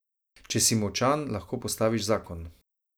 Če si močan, lahko postaviš zakon.